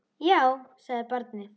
Já, sagði barnið.